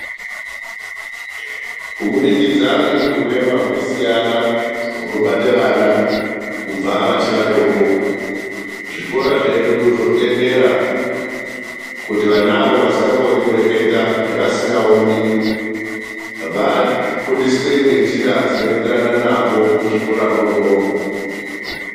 Kubudikidza ngekuti urema hunosiyana hunobate vana kubva vachi vadoko, zvikora zvedu zvotendera kuti vanavo vasikakoni kureketa nevasikaoni vafundiswe ngenjira dzinoenderana navo muzvikora mwoumwomwo.